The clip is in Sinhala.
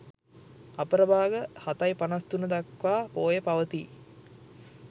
අපර භාග 07.53 දක්වා පෝය පවතී.